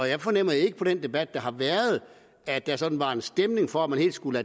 jeg fornemmede ikke på den debat der har været at der sådan var en stemning for at man helt skulle